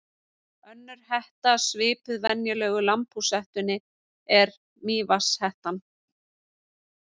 Önnur hetta svipuð venjulegu lambhúshettunni er mývatnshettan.